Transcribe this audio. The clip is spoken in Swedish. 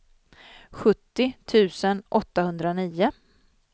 sjuttio tusen åttahundranio